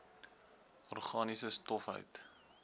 organiese stof hout